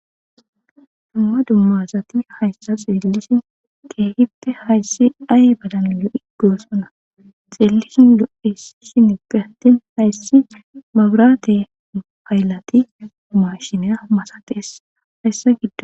Dumma dumma asati hayissa xeelishinn kehippe hayiss ayibadann lo'i gosona.xeelishinn lo'ees.zineppe attin mabirate hayilatti mashshiniya masatessi.hayiss giddonni.